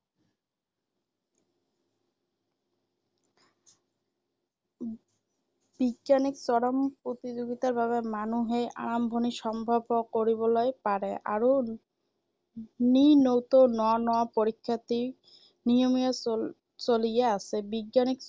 বিজ্ঞানীৰ চৰম প্ৰতিযোগিতাৰ বাৱে মানুহে আৰম্ভণি সম্ভৱ কৰিবলৈ পাৰে আৰু নি নতৌ ন ন পৰীক্ষাৰ্থী নিয়মীয়া চল চলিয়েই আছে।